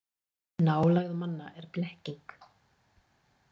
Nálægð manna er blekking.